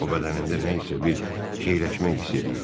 O bədənində nə isə bir keyləşmə hiss eləyirdi.